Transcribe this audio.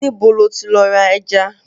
Níbo lo ti lọ ra ẹja?